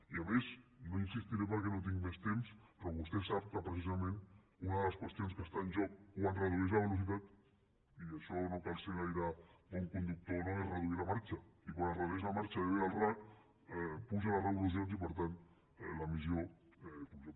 i a més no hi insistiré perquè no tinc més temps vostè sap que precisament una de les qüestions que està en joc quan es redueix la velocitat i en això no cal ser gaire bon conductor no és reduir la marxa i quan es redueix la marxa i ho deia el racc pugen les revolucions i per tant l’emissió puja